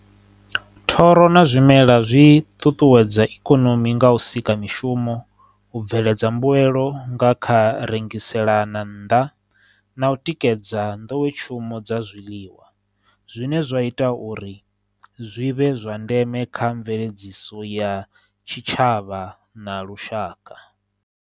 Thoro na zwimela zwi ṱuṱuwedza ikonomi nga u sika mishumo, u bveledza mbuelo nga kha rengiselana nnḓa, na u tikedza nḓowetshumo dza zwiḽiwa, zwine zwa ita uri zwi vhe zwa ndeme kha mveledziso ya tshitshavha na lushaka.